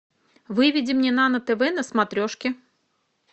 выведи мне нано тв на смотрешке